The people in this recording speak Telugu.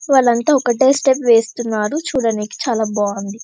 వాళ్లంతా ఒకటే స్టెప్ వేస్తున్నాడు చూడటానికి చాల బాగుంది.